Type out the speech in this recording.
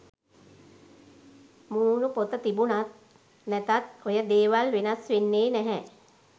මූනු පොත තිබුනත් නැතත් ඔය දේවල් වෙනස් වෙන්නේ නැහැ.